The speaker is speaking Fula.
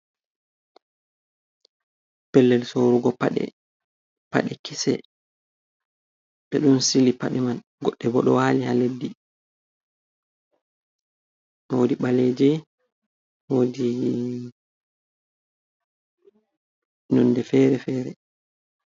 Pellel sorugo paɗe paɗe kese ɓe ɗon sili pade man goɗɗe bo ɗo wali ha leddi wodi ɓaleje woodii nonde fere - fere.